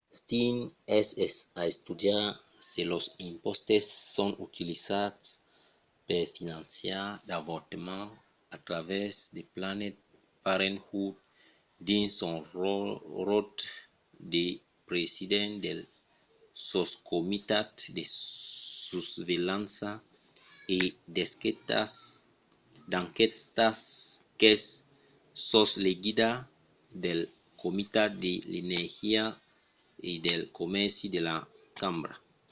stearns es a estudiar se los impòstes son utilizats per finançar d'avortaments a travèrs de planned parenthood dins son ròtle de president del soscomitat de susvelhança e d'enquèstas qu'es sos l'egida del comitat de l'energia e del comèrci de la cambra